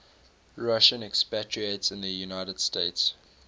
russian expatriates in the united states